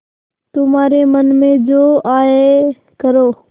तुम्हारे मन में जो आये करो